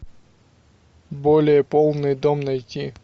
более полный дом найти